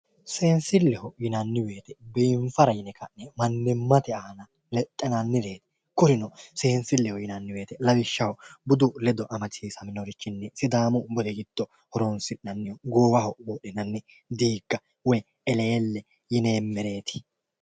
Seensilleho Yinanni woyite biiniffara yine kane manimate aanna lexxinannire kurino seensilleho Yinanni woyite lawishaho budu ledo amadisiisaminorichin sidaamu budi gido horonsinanniri goowaho wodhinanni diiga woyi eleelle yinanireti